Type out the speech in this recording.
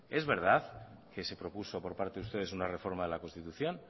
es verdad que se propuso por parte de ustedes una reforma de la constitución